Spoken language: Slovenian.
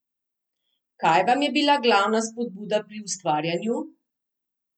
Kaj vam je bila glavna spodbuda pri ustvarjanju?